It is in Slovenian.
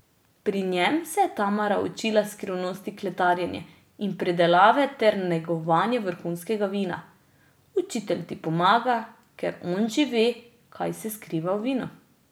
Pri njem se je Tamara učila skrivnosti kletarjenja in pridelave ter negovanja vrhunskega vina: 'Učitelj ti pomaga, ker on že ve, kaj se skriva v vinu.